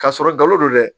K'a sɔrɔ galo don dɛ